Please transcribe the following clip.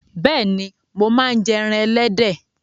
Bẹ́ẹ̀ni, mo máa ń jẹ ẹran ẹlẹ́dẹ̀